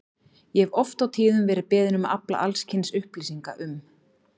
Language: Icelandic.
Ég hef oft og tíðum verið beðinn um að afla alls kyns upplýsinga um